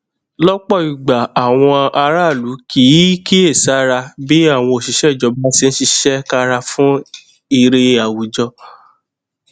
gbígbé agbára léni lórí láti ṣàtìlẹyìn àwọn mọlẹbí tó jìnnà ṣe àkóbá ipá rẹ láti ní àkójọ dáadáa